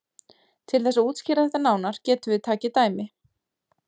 Til þess að útskýra þetta nánar getum við takið dæmi.